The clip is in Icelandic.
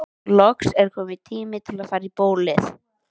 Loks er kominn tími til að fara í bólið.